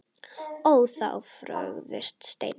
Ó þá fögru steina.